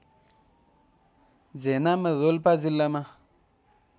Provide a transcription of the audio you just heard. झेनाम रोल्पा जिल्लामा